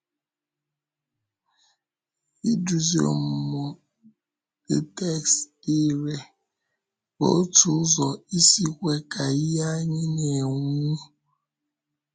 Idúzi ọmụmụ the text dị irè bụ otu ụzọ isi kwe ka ìhè anyị na-enwu.